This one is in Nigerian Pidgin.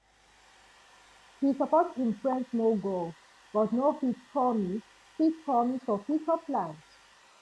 he support him friend small goal but no fit promise fit promise for future plans